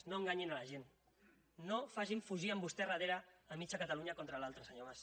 no enganyin la gent no facin fugir amb vostès darrere mig catalunya contra l’altra senyor mas